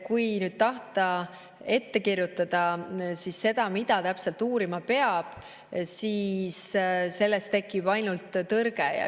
Kui nüüd tahta ette kirjutada, mida täpselt uurima peab, siis sellest tekib ainult tõrge.